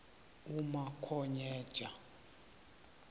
umakhonyeja